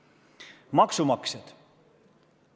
Ja maksumaksjad ka.